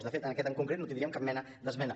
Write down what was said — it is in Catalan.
de fet en aquest en concret no tindríem cap mena d’esmena